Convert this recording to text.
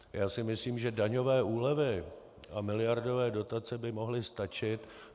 Já si myslím, že daňové úlevy a miliardové dotace by mohly stačit.